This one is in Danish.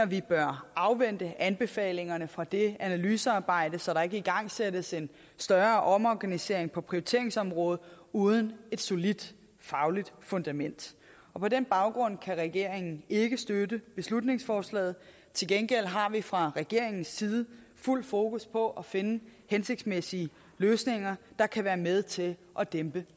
vi bør afvente anbefalingerne fra det analysearbejde så der ikke igangsættes en større omorganisering på prioriteringsområdet uden et solidt fagligt fundament på den baggrund kan regeringen ikke støtte beslutningsforslaget til gengæld har vi fra regeringens side fuldt fokus på at finde hensigtsmæssige løsninger der kan være med til at dæmpe